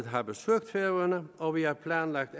har besøgt færøerne og vi har planlagt